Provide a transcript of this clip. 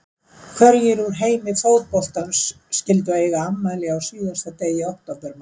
Hverjir úr heimi fótboltans skyldu eiga afmæli á síðasta degi októbermánaðar?